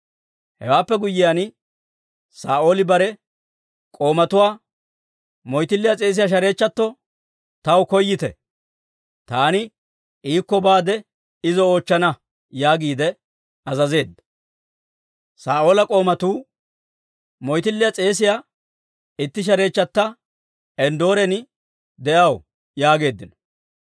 Hewaappe guyyiyaan, Saa'ooli bare k'oomatuwaa, «Moytilliyaa s'eesiyaa shareechchatuwaa taw koyyite; taani iikko baade izo oochchana» yaagiide azazeedda. Saa'oola k'oomatuu, «Moyttiliyaa s'eesiyaa itti shareechchatta Enddooren de'aw» yaageeddino.